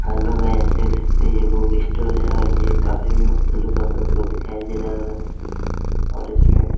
hello guys देख सकते है ये बुक स्टोर है और ये काफी मस्त लोग दिखाई दे रहा होगा और इसमें--